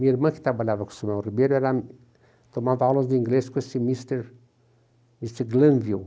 Minha irmã, que trabalhava com o Samuel Ribeiro, era, tomava aulas de inglês com esse mister, mister